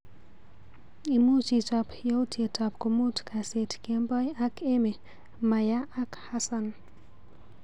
Imuch ichap yautyetap komut kaist kmbeoi ak Emy Maya ak Hassan.